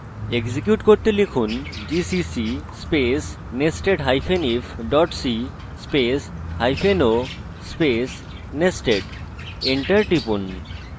execute করতে লিখুন gcc space nestedif c space hyphen o space nested enter টিপুন